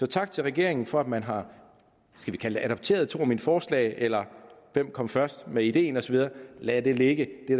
tak til regeringen for at man har skal vi kalde det adopteret to af mine forslag eller hvem kom først med ideen lad det ligge det